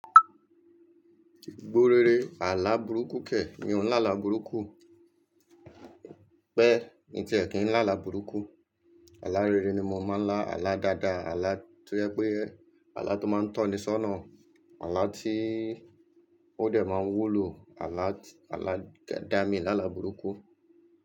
Gbórere àlà burúkú kẹ̀, mi ò ń lá àlà burúkú o. Pẹ́, mí ti ẹ̀ kín ń lá àlà burúkú. Àlà rere ni mo máa ń lá, àlà dáadáa, àlà tó jẹ pé, àlà tó máa ń tọ́ni sọ́nà, àlà tí ó dẹ̀ máa ń wúlo, àlà, àlà dá mi lá àlà burúkú.